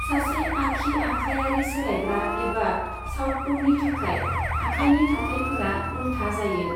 सासे आखि आखायारि सौलायग्रा एबा साउतपौनि थाखाय, आखायनि थाथायफोरा उल्था जायो।